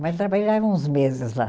Mas trabalhei lá uns meses lá.